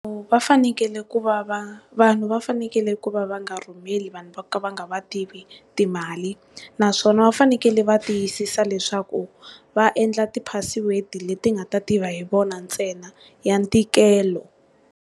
Va fanekele ku va va vanhu va fanekele ku va va nga rhumeli vanhu vo ka va nga va tivi timali, naswona va fanekele va tiyisisa leswaku va endla ti password leti nga ta tiva hi vona ntsena ya ntikelo.